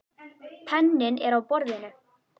Penninn er á borðinu.